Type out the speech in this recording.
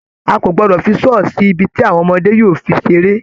A kò gbọdọ̀ fi saw sí ibi tí àwọn ọmọdé yóò fi seré.